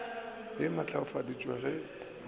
a au a matlafaditšwe ge